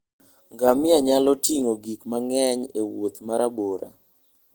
Ngamia nyalo ting'o gik mang'eny e wuoth ma rabora.